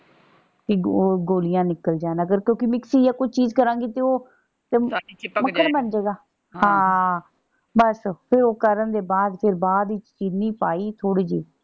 ਇਕ ਉਹ ਗੋਲੀਆਂ ਨਿਕਲ ਜਾਣ ਅਗਰ ਕਿਉਂਕਿ ਮਿਕਸੀ ਆ ਕੋਈ ਚੀਜ਼ ਕਰਾਂਗੀ ਤੇ ਉਹ ਮੱਖਣ ਬਣ ਜੇ ਗਾ। ਹਾਂ ਬਸ ਫੇਰ ਉਹ ਕਰਨ ਦੇ ਬਾਅਦ ਫੇਰ ਬਾਅਦ ਵਿਚ ਚੀਨੀ ਪਾਈ ਥੋੜੀ ਜਿਹੀ।